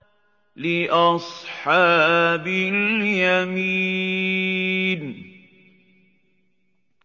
لِّأَصْحَابِ الْيَمِينِ